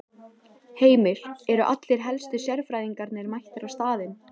Heimir, eru allir helstu sérfræðingarnir mættir á staðinn?